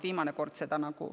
Viimane kord seda nagu …